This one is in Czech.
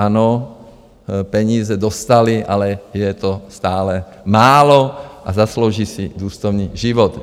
Ano, peníze dostali, ale je to stále málo a zaslouží si důstojný život.